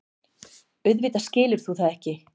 Auðvitað skilur þú það ekki.